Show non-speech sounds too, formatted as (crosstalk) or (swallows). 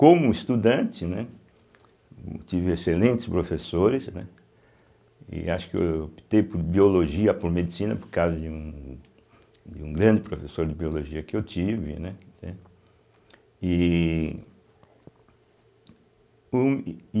Como estudante, né, tive excelentes professores, né, e acho que eu optei por Biologia, por Medicina, por causa de um um grande professor de Biologia que eu tive, né, entende e (swallows) um.